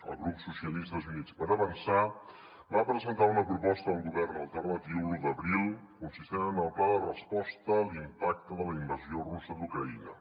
el grup socialistes i units per avançar va presentar una proposta al govern alternatiu l’un d’abril consistent en el pla de resposta a l’impacte de la invasió russa d’ucraïna